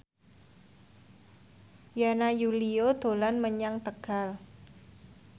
Yana Julio dolan menyang Tegal